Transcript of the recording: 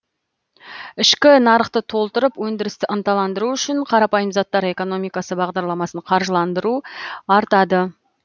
ішкі нарықты толтырып өндірісті ынталандыру үшін қарапайым заттар экономикасы бағдарламасын қаржыландыру артады